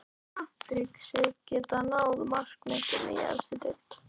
Telur Patrick sig geta náð markametinu í efstu deild?